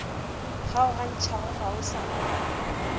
kgaogantšhago go sa na le